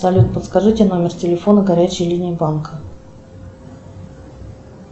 салют подскажите номер телефона горячей линии банка